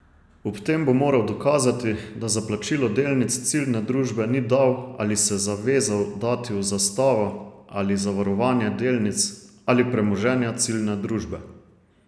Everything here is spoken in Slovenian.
Ob tem bo moral dokazati, da za plačilo delnic ciljne družbe ni dal ali se zavezal dati v zastavo ali zavarovanje delnic ali premoženja ciljne družbe.